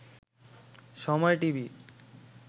সময় টিভি